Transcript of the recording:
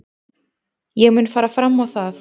Ég mun fara fram á það.